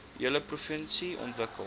hele provinsie ontwikkel